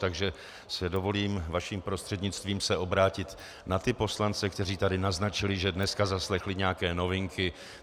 Takže si dovolím vaším prostřednictvím se obrátit na ty poslance, kteří tady naznačili, že dneska zaslechli nějaké novinky.